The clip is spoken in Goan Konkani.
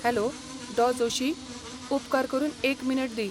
हॅलो डॉ. जोशी. उपकार करून एक मिनट दी.